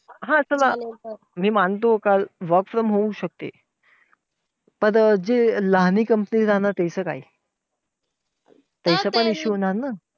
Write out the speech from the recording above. हा! चला मी मानतो का होऊ शकते. तर जे लहान company राहणार त्याचं काय? त्याचं पण issue होणार ना.